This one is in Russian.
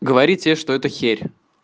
говорите что это херь